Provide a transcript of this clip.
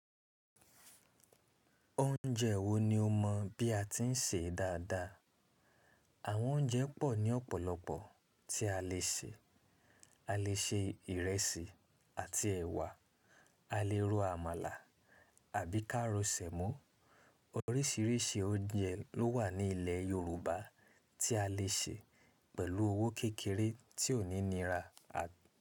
Oúnjẹ wo ni o mọ bí a ti ń sè dáadáa? Àwọn oúnjẹ pọ̀ ní ọ̀pọ̀lọpọ̀ tí a lè sè. A lè ṣe ìrẹsì àti ẹ̀wà, a lè ro àmàlà àbí ká ro sẹ̀mó. Oríṣiríṣi oúnjẹ ló wà ní ilẹ̀ Yorùbá tí a lè sè pẹ̀lú owó kékeré tí ó ní nira à-